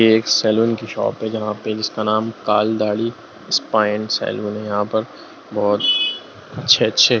ये एक सैलून की शॉप है जिसका नाम काल दाढ़ी स्पाइन सैलून है यहाँ पर बहोत अच्छे-अच्छे --